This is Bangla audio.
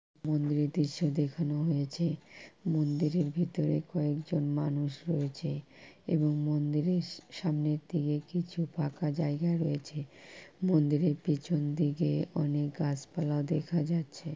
মন্দিরের দির্শও দেখানো হয়েছে। মন্দিরের ভিতরে কয়েকজন মানুষ রয়েছে। এবং মন্দিরে সামনের দিকে কিছু ফাকা জায়গায় রয়েছে। মন্দিরের পিছনদিকে অনেক গাছপালা দেখা যাচ্ছে।